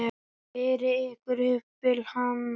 Berið ykkur upp við hann!